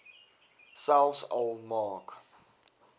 selfs al maak